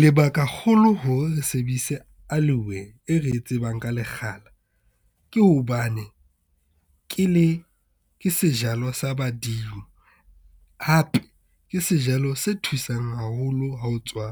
Lebaka kgolo hore re sebedise aloe-we, e re e tsebang ka lekgala ke hobane ke sejalo sa badimo. Hape ke sejalo se thusang haholo ha o tswa